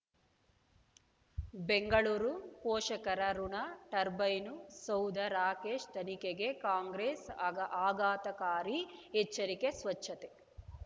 ಬೆಂಗಳೂರು ಪೋಷಕರಋಣ ಟರ್ಬೈನು ಸೌಧ ರಾಕೇಶ್ ತನಿಖೆಗೆ ಕಾಂಗ್ರೆಸ್ ಆಘಾ ಆಘಾತಕಾರಿ ಎಚ್ಚರಿಕೆ ಸ್ವಚ್ಛತೆ